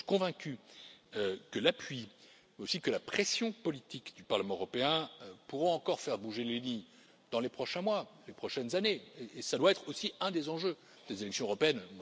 Je suis convaincu que l'appui, mais aussi que la pression politique, du Parlement européen pourront encore faire bouger les lignes dans les prochains mois, les prochaines années, et cela doit être aussi un des enjeux des élections européennes.